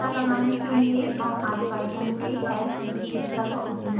इसका पता लगाने के लिए हम ipython के हैल्प विशेषता का उपयोग करेंगे